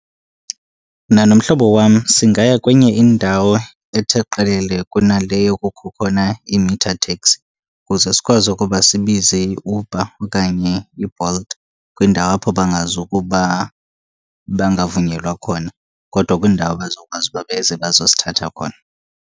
Mna nomhlobo wam singaya kwenye indawo ethe qelele kunaleyo kukho khona i-meter taxi, kuze sikwazi ukuba sibize iUber okanye iBolt. Kwindawo apho bangazukuba bangavunyelwa khona, kodwa kwindawo abazokwazi uba beze bazosithatha khona.